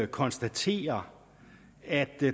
konstatere at